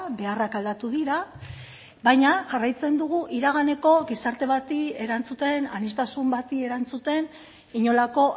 beharrak aldatu dira baina jarraitzen dugu iraganeko gizarte bati erantzuten aniztasun bati erantzuten inolako